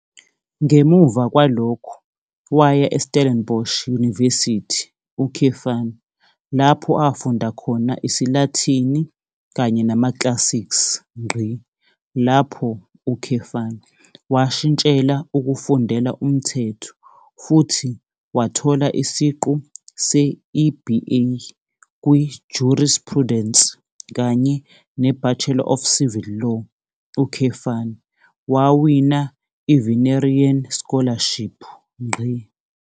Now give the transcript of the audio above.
Ngemuva kwalokho waya eStellenbosch University, lapho afunda khona isiLatini kanye nama-classics. Lapho, washintshela ukufundela umthetho futhi wathola isiqu se-i-BA kwi-Jurisprudence kanye neBachelor of Civil Law, wawina iVinerian Scholarship.